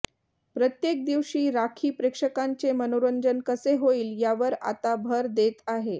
प्रत्येक दिवशी राखी प्रेक्षकांचे मनोरंजन कसे होईल यावर आता भर देत आहे